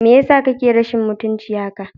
Me yasa kake rashin mutunci haka?